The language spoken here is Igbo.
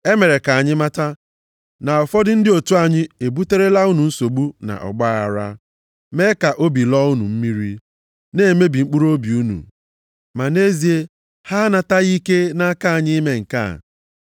E mere ka anyị mata na ụfọdụ ndị otu anyị ebuterela unu nsogbu na ọgbaaghara, mee ka obi lọọ unu mmiri, na-emebi mkpụrụobi unu. Ma nʼezie, ha anataghị ike nʼaka anyị ime nke a.